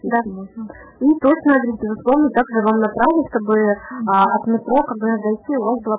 как варить рисовую кашу